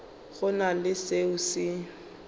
go na le seo se